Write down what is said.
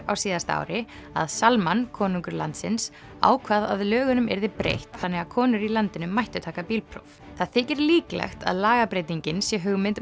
á síðasta ári að konungur landsins ákvað að lögunum yrði breytt þannig að konur í landinu mættu taka bílpróf það þykir líklegt að lagabreytingin sé hugmynd